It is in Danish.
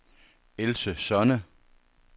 Else Sonne